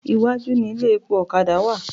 Iwájú ni ilé epo ọ̀kadà wà.